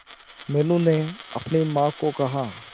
मीनू ने अपनी मां को कहा